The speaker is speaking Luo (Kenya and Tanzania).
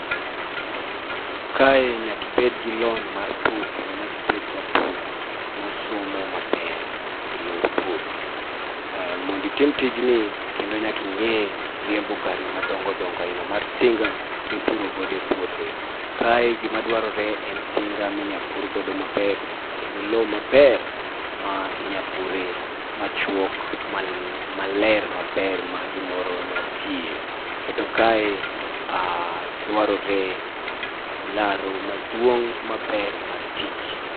Kae, nyaka ibed gi lony mar pur kendo nyaka ibed japur mosomo maber e yor pur. Mondo itim tijni kendo nyaka ing'e riembo gari madongodongo aina mar tinga mipuro godo e pwothe. Kae gima dwarore en tinga minyalo pur godo maber, kendo lo maber minyal pure machuok maler maber ma gimoro nya tie. Kendo kae, dwarore laro maduong' maber mar tich.